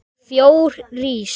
Fjós rís